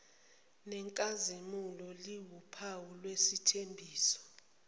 nenkazimulo liwuphawu lwesithembiso